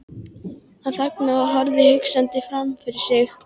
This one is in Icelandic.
Hún þagnaði og horfði hugsandi framfyrir sig.